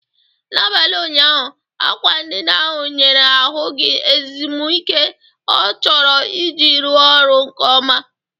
N'abalị ụnyaahụ, akwa ndina ahụ nyere ahụ gị ezumike ọ chọrọ iji rụọ ọrụ nke ọma.